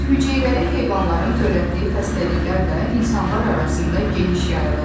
Bir hüceyrəli heyvanların törətdiyi xəstəliklər də insanlar arasında geniş yayılıb.